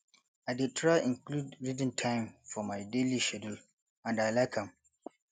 i dey try include reading time for my daily schedule and i like am